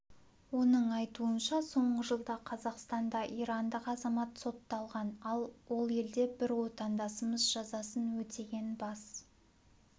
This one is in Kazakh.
оның айтуынша соңғы жылда қазақстанда ирандық азамат сотталған ал ол елде бір отандасымыз жазасын өтеген бас